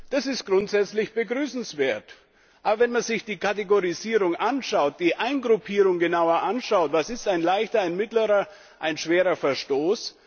Das ist grundsätzlich begrüßenswert. Aber wenn man sich die Kategorisierung, die Eingruppierung genauer anschaut was ist ein leichter, ein mittlerer, ein schwerer Verstoß?